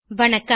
வணக்கம்